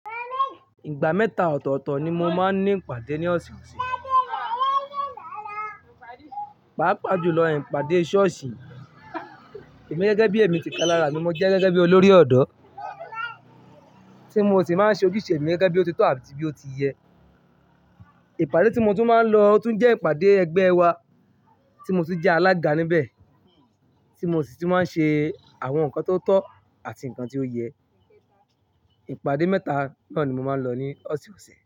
Ìgbà mẹ́ta ọ̀tọ̀ọ̀tọ̀ ni mo máa ń ní ìpàdé ní ọ̀sẹ̀ ọ̀sẹ̀. Pàápàá jù lọ, ìpàdé ṣọ́ọ̀ṣì, emi gẹ́gẹ́ bí èmi ti kalara mi mo jẹ́ gẹ́gẹ́ bí olórí ọ̀dọ́ tí mo ti máa ń ṣe ojúṣe mi gẹ́gẹ́ bí ó ti tọ́ àti bí ó ti yẹ. Ìpàdé tí mo tún máa ń lọ otún jẹ́ ìpàdé ẹgbẹ́ wa tí mo tún jẹ alága níbẹ̀ tí mo sì ti máa ń ṣe àwọn nǹkan tó tọ́ àti nǹkan tí ó yẹ. Ìpàdé mẹ́ta náà ni mo máa ń lọ ní ọ̀sẹ̀ẹ̀ ọ̀sẹ̀